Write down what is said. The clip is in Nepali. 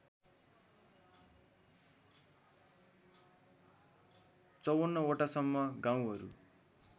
५४ वटासम्म गाउँहरू